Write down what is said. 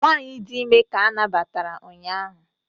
nwanyị dị ime ka a nabatara ụnyahụ